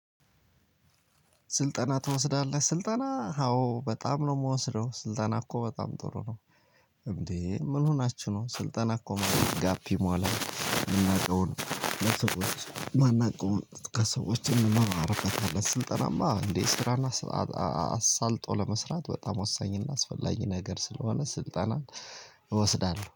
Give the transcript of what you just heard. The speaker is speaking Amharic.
ስልጠና ትወስዳለህ? ስልጠና አዎ በጣም ነው የምወስደው ስልጠና እኮ በጣም ጥሩ ነው እንዴ ምን ሆናችሁ ነው ስልጠና እኮ ማድረግ ጋፕ ይሟላል የምናውቀው ነው ለሰዎች ማን አውቀው ከሰዎች እንመራለን ስልጠናማ እንዴ ስራና አሳልጦ ለመስራት በጣም ወሳኝና አስፈላጊ ነገር ስለሆነ ስልጠናን እወስዳለሁ።